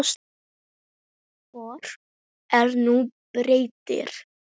Hvor er nú betri?